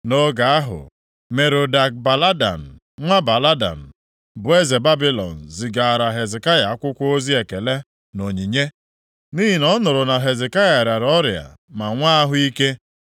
Nʼoge ahụ, Merodak-Baladan, nwa Baladan, bụ eze Babilọn zigaara Hezekaya akwụkwọ ozi ekele na onyinye, nʼihi na ọ nụrụ na Hezekaya rịara ọrịa ma nwe ahụ ike.